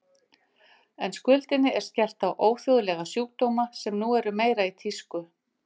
En skuldinni er skellt á óþjóðlega sjúkdóma sem nú eru meira í tísku.